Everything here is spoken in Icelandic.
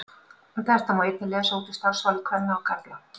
Þetta má einnig lesa út úr starfsvali kvenna og karla.